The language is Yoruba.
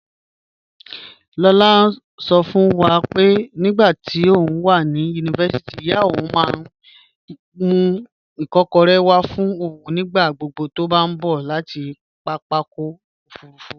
Lola sọ fún wa pé nígbà tóun wà ní yunifásítì, ìyá òun máa ń mú ikokore wá fún òun nígbà gbogbo tó bá gbé láti pápákọ̀ òfuurufú.